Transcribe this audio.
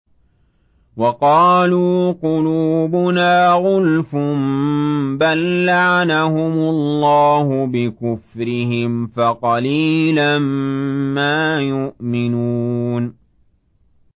وَقَالُوا قُلُوبُنَا غُلْفٌ ۚ بَل لَّعَنَهُمُ اللَّهُ بِكُفْرِهِمْ فَقَلِيلًا مَّا يُؤْمِنُونَ